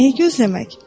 Nəyi gözləmək?